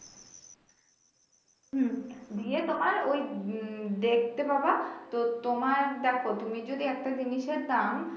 হম দিয়ে তোমার উম দেখতে পাবা তো তোমার দেখো তুমি যদি একটা জিনিসের দাম।